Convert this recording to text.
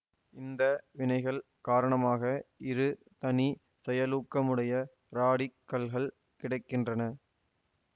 இந்த வினைகள் காரணமாக இரு தனி செயலூக்கமுடைய ராடிக்கல்கள் கிடை கின்றன